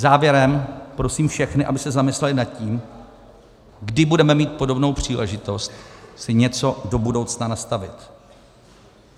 Závěrem prosím všechny, aby se zamysleli nad tím, kdy budeme mít podobnou příležitost si něco do budoucna nastavit.